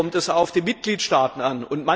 Hier kommt es auf die Mitgliedstaaten an.